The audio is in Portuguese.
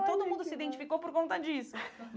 E todo mundo se identificou por conta disso.